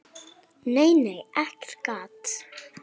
Nei, nei, ekkert gat!